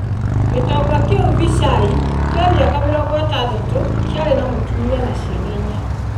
Gitonga kĩu Vichai, kĩa mĩaka 60, kĩarĩ na mũtumia na ciana inya.